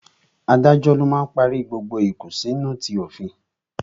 Adájọ́ máa ń parí gbogbo ìkùnsínú ti òfin